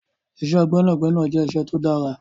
Iṣẹ́ gbẹ́nàgbẹnà jẹ́ iṣẹ́ tó dára.